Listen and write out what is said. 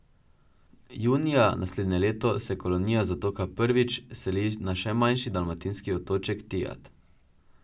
Junija naslednje leto se kolonija z otoka Prvić seli na še manjši dalmatinski otoček, Tijat.